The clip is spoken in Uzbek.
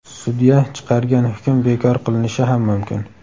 sudya chiqargan hukm bekor qilinishi ham mumkin.